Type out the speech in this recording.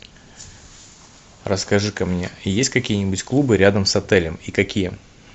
расскажи ка мне есть какие нибудь клубы рядом с отелем и какие